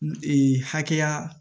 Ee hakɛya